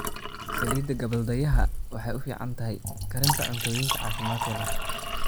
Saliidda gabbaldayaha waxay u fiican tahay karinta cuntooyinka caafimaadka leh.